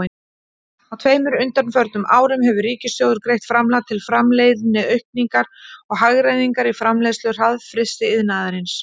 Á tveimur undanförnum árum hefur ríkissjóður greitt framlag til framleiðniaukningar og hagræðingar í framleiðslu hraðfrystiiðnaðarins.